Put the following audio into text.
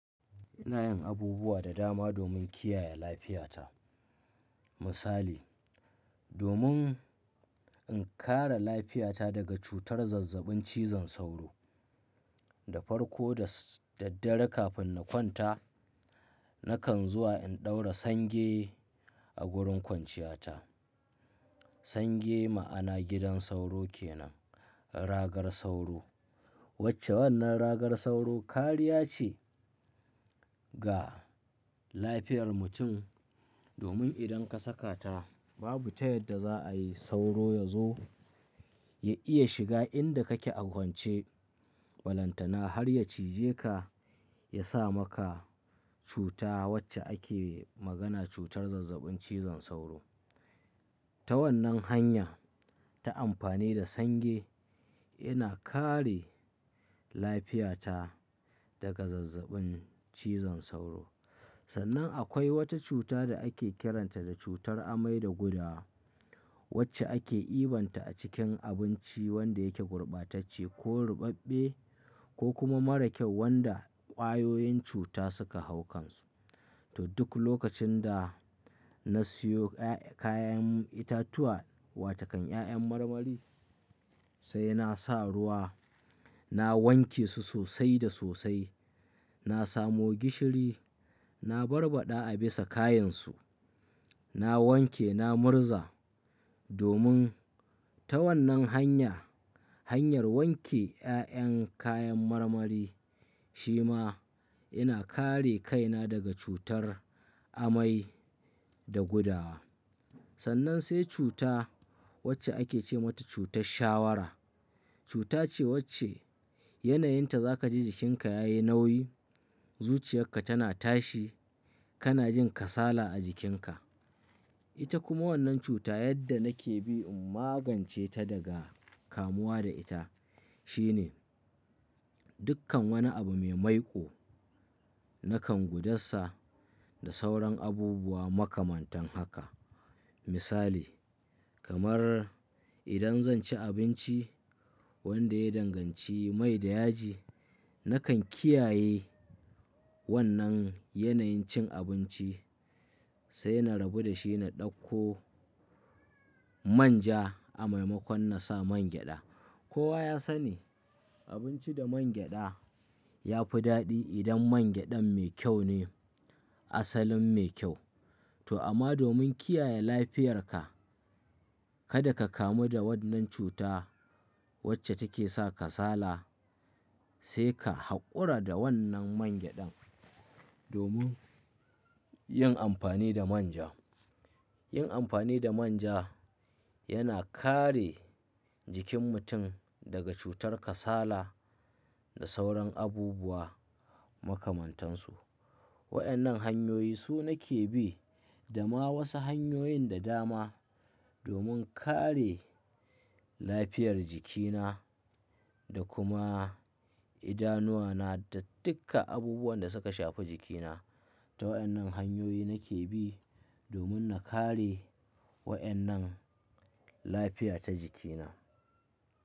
Ina yin abubuwa da dama domin kiyaye lafiyata. Misali, domin in kare lafiyata daga cutar zazzabin cizon sauro, da farko da daddare kafin na kwanta, nakan zuwa in ɗaura sange a wurin kwanciyata. Sange ma'ana gidan sauro ke nan, ragar sauro. Wacce wannan ragar sauro kariya ce ga lafiyar mutum, domin idan ka saka ta babu tayadda za'a yi sauro ya zo ya iya shiga inda kake a kwance. Walantana har ya cije ka ya sa maka cuta wacce ake magana cutar zazzabin cizon sauro. Ta wannan hanya, ta amfani da sange, ina kare lafiyata daga zazzabin cizon sauro. Sannan akwai wata cuta da ake kiranta da cutar amai da gudawa, wacce ake ibanta a cikin abinci wanda yake gurbatacce ko rubabbe ko kuma mara kyau wanda ƙwayoyin cuta suka hau kansu. To duk lokacin da na siyo kayan itatuwa, wa takan ƴaƴan marmari, sai na sa ruwa, na wanke su sosai da sosai. Na samo gishiri, na barbada a bisa kayansu, na wanke, na murza. Domin ta wannan hanya, hanyar wanke ƴaƴan kayan marmari, shi ma ina kare kaina daga cutar amai da gudawa. Sannan sai cuta wacce ake ce mata cutar shawara. Cuta ce wacce yanayinta za ka ji jikinka yayi nauyi, zuciyarka tana tashi, kana jin kasala a jikinka. Ita kuma wannan cuta yadda nake bi in magance ta daga kamuwa da ita, shine dukkan wani abu me maiƙo nakan gudasa da sauran abubuwa makamantan haka. Misali, kamar idan zan ci abinci wanda ya danganci mai da yaji, nakan kiyaye wannan yanayin cin abinci, sai na rabu da shi na ɗauko manja a maimakon na sa mangyaɗa. Kowa ya sani abinci da mangyaɗa ya fi daɗi idan mangyaɗan mai kyau ne, asalin mai kyau. To amma domin kiyaye lafiyarka, kada ka kamu da wannan cuta wacce take sa kasala, sai ka haƙura da wannan mangyaɗan domin yin amfani da manja. Yin amfani da manja yana kare jikin mutum daga cutar kasala da sauran abubuwa makamantansu. Waƴannan hanyoyi su nake bi da ma wasu hanyoyin da dama domin kare lafiyar jikina da kuma idanuwana da duka abubuwan da suka shafi jikina. Ta waƴannan hanyoyi nake bi domin na kare waƴannan lafiya ta jikina.